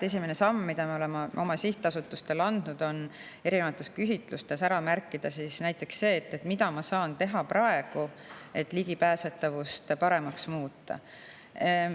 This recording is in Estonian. Esimene samm, mille me oleme oma sihtasutustele, on erinevates küsitlustes ära märkida näiteks see, mida saab teha praegu, et ligipääsetavust paremaks muuta.